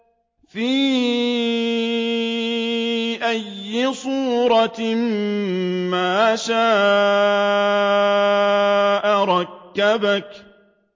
فِي أَيِّ صُورَةٍ مَّا شَاءَ رَكَّبَكَ